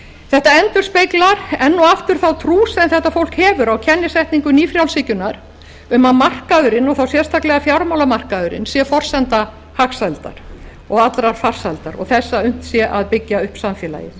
þetta endurspeglar enn og aftur þá trú sem þetta fólk hefur á kennisetningu nýfrjálshyggjunnar um að markaðurinn og þá sérstaklega fjármálamarkaðurinn sé forsenda hagsældar og allrar farsældar og þess að unnt sé að byggja upp samfélagið